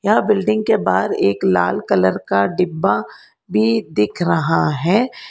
यह बिल्डिंग के बाहर एक लाल कलर का डिब्बा भी दिख रहा है।